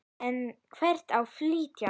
En hvert á að flytja?